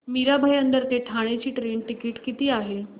मीरा भाईंदर ते ठाणे चे train ticket किती आहे